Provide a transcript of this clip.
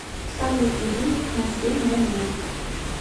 салют будильник на семь ноль ноль